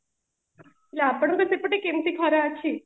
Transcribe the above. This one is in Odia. ଆପଣଙ୍କରେ ସେପଟେ କେମିତି କଣ ଅଛି